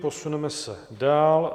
Posuneme se dál.